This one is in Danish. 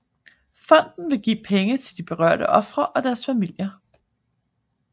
Fonden vil give penge til de berørte ofre og deres familier